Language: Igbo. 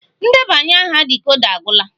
Ndebanya aha dịkoda agwula